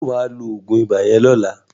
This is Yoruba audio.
Ṣé wà á lo oògùn ibà yẹn lọ́la?